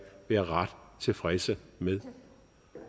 være ret tilfredse med